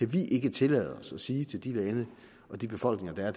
vi ikke tillade os at sige til de lande og de befolkninger der er